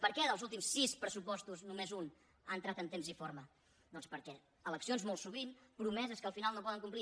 per què dels últims sis pressupostos només un ha entrat en temps i forma doncs per eleccions molt sovint promeses que al final no poden complir